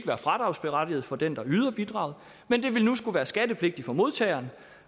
være fradragsberettiget for den der yder bidraget men det vil nu skulle være skattepligtigt for modtageren